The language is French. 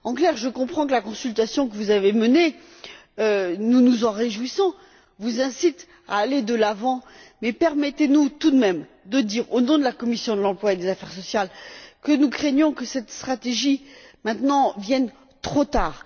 En clair, je comprends que la consultation que vous avez menée nous nous en réjouissons vous incite à aller de l'avant mais permettez nous tout de même de dire, au nom de la commission de l'emploi et des affaires sociales que nous craignons que cette stratégie arrive maintenant trop tard.